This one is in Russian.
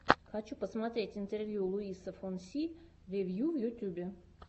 хочу посмотреть интервью луиса фонси вево в ютюбе